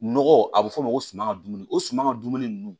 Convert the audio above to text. Nɔgɔ a bɛ f'o ma suma ka dumuni o suman ka dumuni ninnu